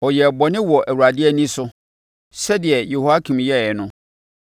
Ɔyɛɛ bɔne wɔ Awurade ani so, sɛdeɛ Yehoiakim yɛeɛ no.